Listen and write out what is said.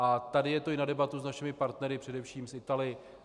A tady je to i na debatu s našimi partnery, především s Italy.